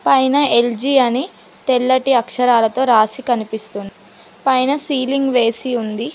పైన ఎల్_జి అని తెల్లటి అక్షరాలతో రాసి కనిపిస్తోంది పైన సీలింగ్ వేసి ఉంది.